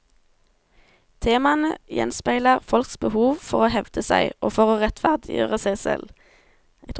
Temaene gjenspeiler folks behov for å hevde seg, og for å rettferdiggjøre seg selv.